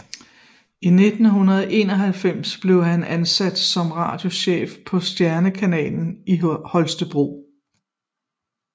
I 1991 blev han ansat som radiochef på Stjernekanalen i Holstebro